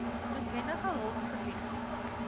noodwendig hulp verleen